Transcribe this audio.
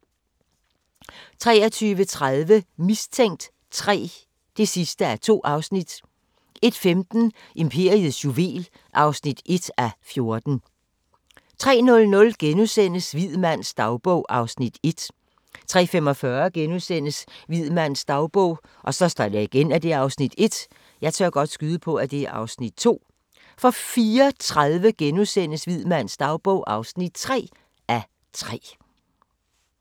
23:30: Mistænkt 3 (2:2) 01:15: Imperiets juvel (1:14) 03:00: Hvid mands dagbog (1:3)* 03:45: Hvid mands dagbog (1:3)* 04:30: Hvid mands dagbog (3:3)*